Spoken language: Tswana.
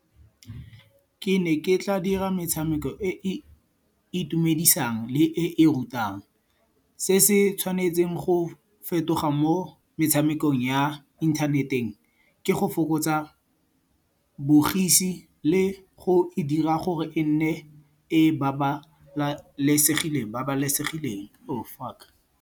Ke ne ke tla dira metshameko e e itumedisang le e e rutang. Se se tshwanetseng go fetoga mo metshamekong ya ithaneteng ke go fokotsa bogisi le go e dira gore e nne e babalesegileng .